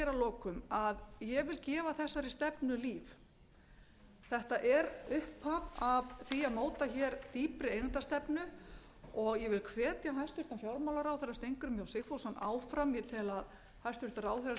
lokum að ég vil gefa þessari stefnu líf þetta er upphaf að því að móta hér dýpri eigendastefnu og ég vil hvetja hæstvirtan fjármálaráðherra steingrím j sigfússon áfram ég tel að hæstvirtur ráðherra sé á